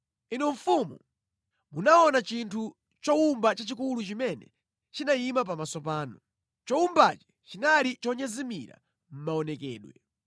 “Inu mfumu, munaona chinthu chowumba chachikulu chimene chinayima pamaso panu. Chowumbachi chinali chonyezimira mʼmaonekedwe.